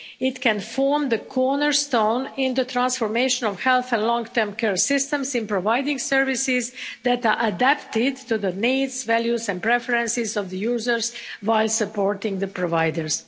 It can form the cornerstone in the transformation of health and long-term care systems in providing services that are adapted to the needs, values and preferences of the users, while supporting the providers.